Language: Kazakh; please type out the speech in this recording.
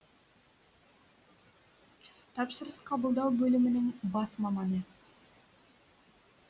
тапсырыс қабылдау бөлімінің бас маманы